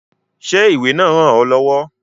Ṣé ìwé náà ràn ọ lọ́wọ́?